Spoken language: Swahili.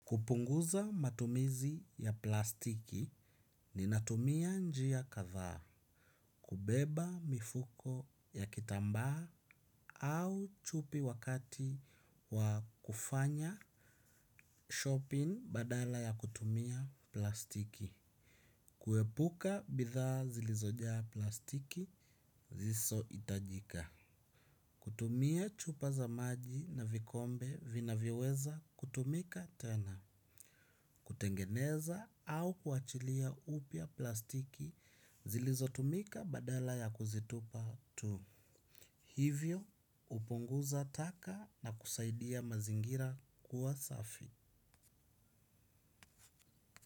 Kupunguza matumizi ya plastiki, ninatumia njia kadhaa, kubeba mifuko ya kitambaa au chupi wakati wa kufanya shopping badala ya kutumia plastiki. Kuepuka bidhaa zilizojaa plastiki zisohitajika. Kutumia chupa za maji na vikombe vinavyoweza kutumika tena. Kutengeneza au kuachilia upya plastiki zilizotumika badala ya kuzitupa tu hivyo hupunguza taka na kusaidia mazingira kuwa safi.